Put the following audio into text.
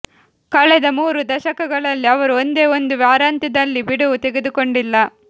ಕಳೆದ ಮೂರು ದಶಕಗಳಲ್ಲಿ ಅವರು ಒಂದೇ ಒಂದು ವಾರಾಂತ್ಯದಲ್ಲಿ ಬಿಡುವು ತೆಗೆದುಕೊಂಡಿಲ್ಲ